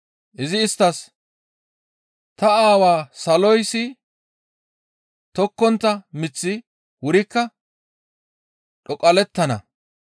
Izi isttas, «Ta Aawaa saloyssi tokkontta miththi wurikka dhoqallettana.